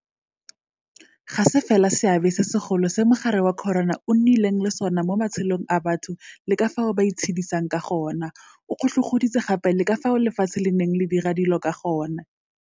Ga se fela seabe se segolo se mogare wa corona o nnileng le sona mo matshelong a batho le ka fao ba itshedisang ka gone, o kgotlhokgoditse gape le ka fao lefatshe le neng le dira dilo ka gone.